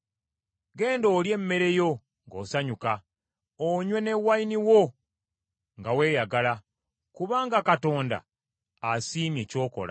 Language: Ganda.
Genda olye emmere yo ng’osanyuka, onywe ne wayini wo nga weeyagala; kubanga Katonda asiimye ky’okola.